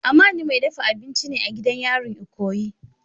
Amani mai dafa abinci ne a gidan yarin ikoyi.